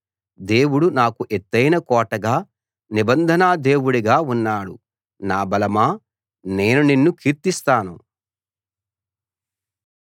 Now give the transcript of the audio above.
దేవుడు నాకు ఎత్తయిన కోటగా నిబంధనా దేవుడుగా ఉన్నాడు నా బలమా నేను నిన్ను కీర్తిస్తాను